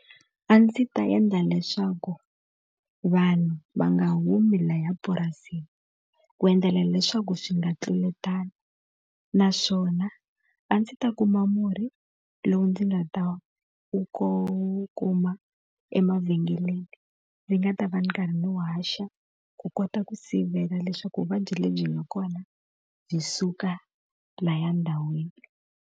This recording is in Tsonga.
A ndzi ta endla leswaku vanhu va nga humi lahaya purasini, ku endlela leswaku swi nga tluletani. Naswona a ndzi ta kuma murhi lowu ndzi nga ta wu wu kuma emavhengeleni, ndzi nga ta va ndzi karhi ndzi wu haxa ku kota ku sivela leswaku vuvabyi lebyi nga kona byi suka lahaya ndhawini.